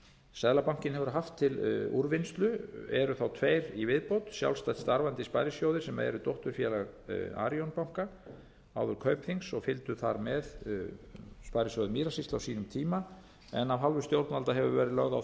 seðlabankinn hefur haft til úrvinnslu eru tveir í viðbót sjálfstætt starfandi sparisjóðir sem eru dótturfélag arionbanka áður kaupþings og fylgdu þar með sparisjóði mýrasýslu á sínum tíma en af hálfu stjórnvalda hefur verið lögð á það áhersla að